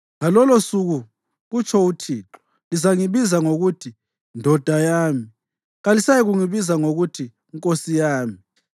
Ngalolosuku,” kutsho uThixo, “lizangibiza ngokuthi ‘ndoda yami’; kalisayikungibiza ngokuthi ‘nkosi yami.’